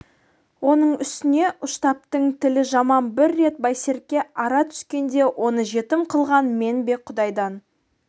оның үстіне ұштаптың тілі жаман бір рет байсерке ара түскенде оны жетім қылған мен бе құдайдан